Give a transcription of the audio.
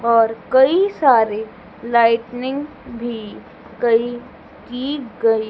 और कई सारी लाइटनिंग भी कई की गई--